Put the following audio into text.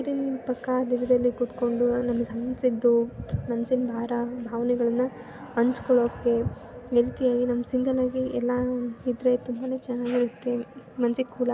ನದಿ ನೀರಿನ ಪಕ್ಕ ದೂರದಲ್ಲಿ ಕೂತಕೊಂಡು ನಂಗ ಅನಿಸಿದ್ದು ಮನಸ್ಸಿನ ಭಾರ್ ಭಾವನೆಗಳನ್ನ ಹಂಚಕೊಳ್ಳುಕೆ ಈ ರೀತಿಯಾಗಿ ನಮಗ ಸಿಂಗಲ್ಲಾಗಿ ಎಲ್ಲಾ ಇದ್ದರೆ ತುಂಬಾನೆ ಚೆನ್ನಾಗಿರುತ್ತೆ ಮನಸ್ಸಿಗೆ ಕೂಲ್ ಆಗಿ --